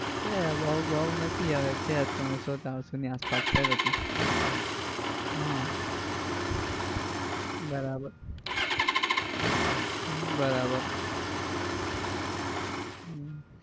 એટલે બઉ બઉ નથી હવે છે ત્રણસો ચારસો ની આસપાસ છે કશું હમ બરાબર હમ બરાબર